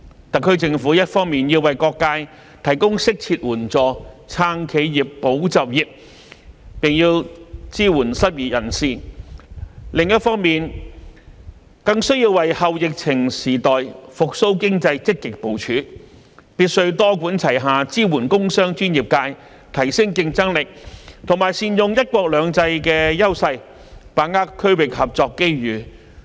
特區政府一方面要為各界提供適切援助，"撐企業，保就業"，並支援失業人士；另一方面，更需要為"後疫情時代"復蘇經濟積極部署，必須多管齊下支援工商專業界，提升競爭力及善用"一國兩制"的優勢，把握區域合作機遇。